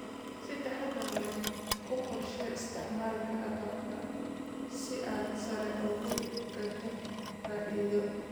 Si taxadar leh u qorshee isticmaalka agabka si aad sare ugu qaaddo faa'iidada.